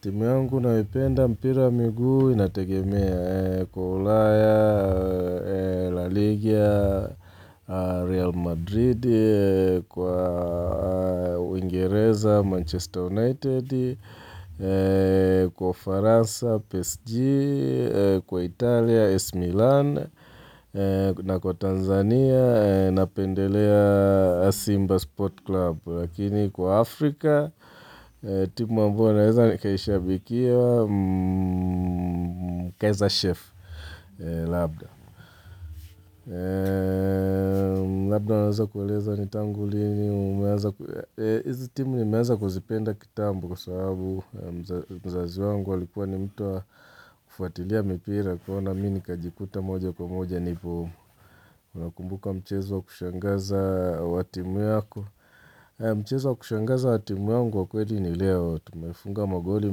Timu yangu nayoipenda mpira miguu inategemea kwa ulaya, la Ligia, Real Madrid, kwa uingereza, Manchester United, kwa Faransa, PSG, kwa Italia, Ac millan, na kwa Tanzania, na pendelea Simba Sport Club. Lakini kwa Afrika, timu ambayo naweza nikaishabikia mkeza chef, Labda. Labda naweza kueleza nitangulini. Izi timu nimeanza kuzipenda kitambo kwa sababu mzazi wangu walikuwa ni mtu wa kufuatilia mipira kwaona mini kajikuta moja kwa moja nipo umu. Unakumbuka mchezo kushangaza watimu yako. Mchezo kushangaza watimu yungu wakweli ni leo. Tumefunga magoli,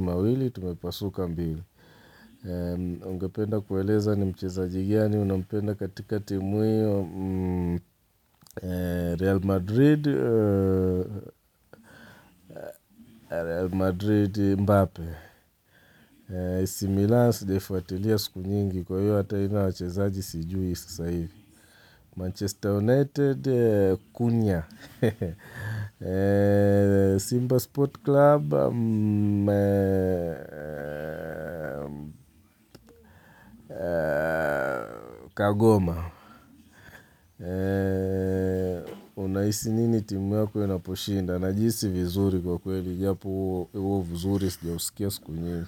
mawili, tumepasuka mbili. Ungependa kueleza ni mchezaji mgani unapenda katika timu yangu Real Madrid, Real Madrid, Mbape. AC millan sijafuatilia siku nyingi kwa hiyo ata ina wachezaji sijui sasa hivi Manchester United, Kunya. Simba Sport Club, Kagoma. Unahisi nini timu yako inaposhinda. Najihisi vizuri kwa kweli japo huo vizuri sija usikia siku nyingi.